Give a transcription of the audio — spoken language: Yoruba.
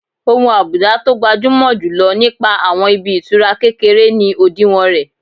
Ohun àbùdá tó gbajúmọ̀ jù lọ nípa àwọn ibi ìtura kékeré ni òdiwọ̀n rẹ̀